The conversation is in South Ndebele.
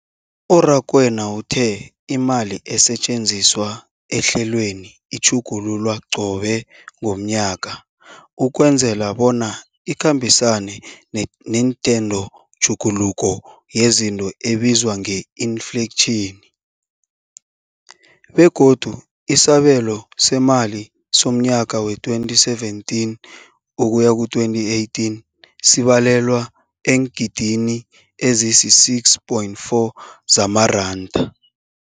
U-Rakwena uthe imali esetjenziswa ehlelweneli ikhutjhulwa qobe ngomnyaka ukwenzela bona ikhambisane nentengotjhuguluko yezinto ebizwa nge-infleyitjhini, begodu isabelo seemali somnyaka we-2017 ukuya ku-2018 sibalelwa eengidigidini ezisi-6.4 zamaranda.